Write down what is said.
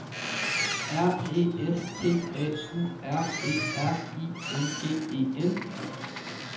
R E S T A U R E R I N G E N